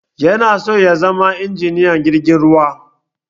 Yana so ya zama injiniyan jirgin ruwa